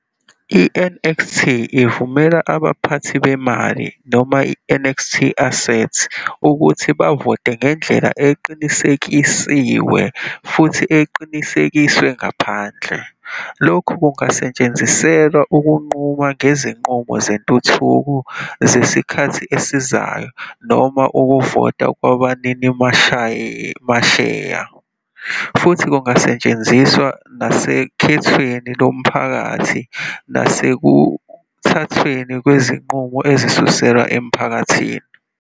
I-NXT ivumela abaphathi bemali noma i-NXT-Assets ukuthi bavote ngendlela eqinisekisiwe futhi eqinisekiswe ngaphandle. Lokhu kungasetshenziselwa ukunquma ngezinqumo zentuthuko zesikhathi esizayo noma ukuvota kwabaninimasheya, futhi Kungasetshenziswa nasokhethweni lomphakathi nasekuthathweni kwezinqumo ezisuselwa emphakathini.